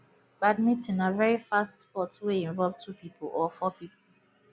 badminton na very fast sport wey involve two pipo or four pipo